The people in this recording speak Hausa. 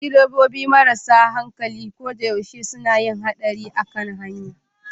Direbobi marasa hankali ko da yaushe suna yin haɗari a hanya